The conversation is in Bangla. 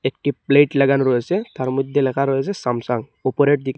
একটি প্লেট লাগানো রয়েসে তার মধ্যে লেখা রয়েসে স্যামসাং ওপরের দিক--